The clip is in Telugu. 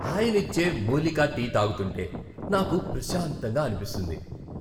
హాయినిచ్చే మూలికా టీ తాగుతుంటే నాకు ప్రశాంతంగా అనిపిస్తుంది.